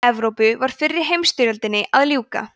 í evrópu var fyrri heimsstyrjöldinni að ljúka